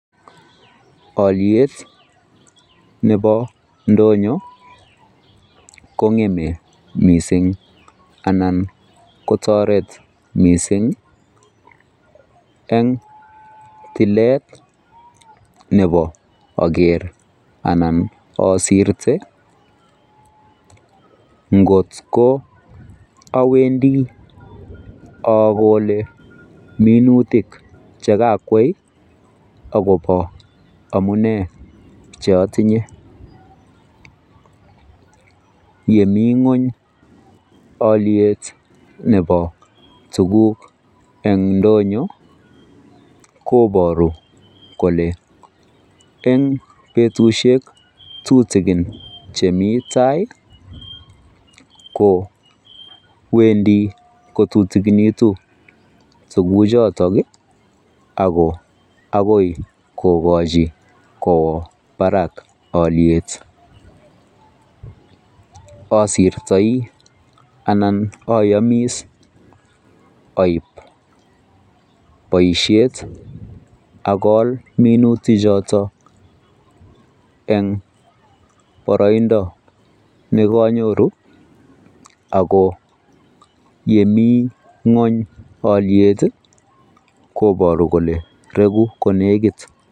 Aliet Nebo ndonyo kongem mising anan kotaret mising' en tilet Nebo Ager anan asirte ngotko awendi akole minutik akwei akoba amune cheatinye chemi ngweny aliet Nebo tuguk en ndonyo kobaru Kole en betushek tutikin chemi tai kowendi tutikinitun tuguk choton akoi kokachin Koba Barak aliet asirtoi anan anai Ayib baishet akol minutik choton en baraindo nekanyoru ako Yemi ngweny aliet kobar Kole regu konekit.